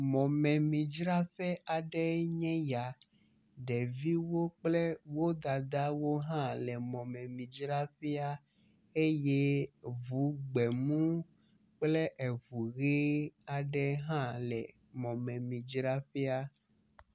Mɔmemidzraƒe aɖee nye ya. Ɖeviwo kple wo dadawo hã le mɔmemidzraƒea eye ŋu gbe mu kple eŋu ʋe aɖe hã le mɔmemidzraƒea.